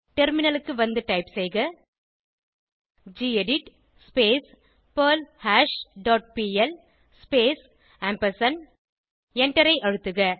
டெர்மினலுக்கு வந்து டைப் செய்க gedit perlhash dot P L space எண்டரை அழுத்தக